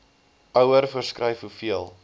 ouer voorskryf hoeveel